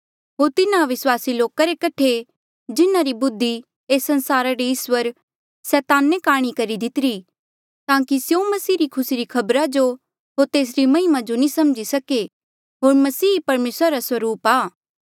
होर तिन्हा अविस्वासी लोका रे कठे जिन्हारी बुद्धि ऐस संसारा रे इस्वर सैताने काणी करी दितीरी ताकि स्यों मसीह री खुसी री खबरा जो होर तेसरी महिमा जो नी समझी सके होर मसीह ही परमेसरा रा स्वरूप आ